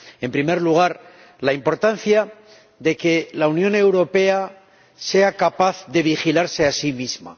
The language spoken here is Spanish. En primer lugar, la importancia de que la Unión Europea sea capaz de vigilarse a sí misma.